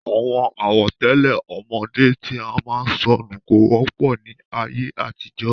Àwọn àwọ̀tẹ́lẹ̀ ọmọdé tí a máa ń sọ nù kò wọ́pọ̀ ní ayé àtijọ́.